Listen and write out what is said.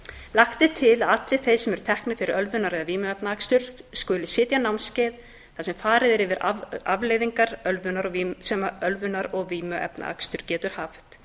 lagt er til að allir þeir sem eru teknir fyrir ölvunar eða vímuefnaakstur skuli sitja námskeið þar sem farið er yfir afleiðingar sem ölvunar og vímuefnaakstur getur haft